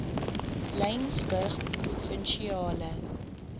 laingsburgprovinsiale